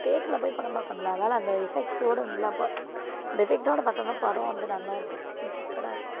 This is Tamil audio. theater ல போய் படம் பாக்கணும்ல அதனால அந்த effect ஓட நல்லா அந்த effect ஓட பார்த்தாதான் படம் வந்து நல்லா இருக்கும். interested ஆ இருக்கும்.